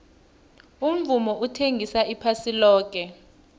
umvumo uthengisa iphasi loke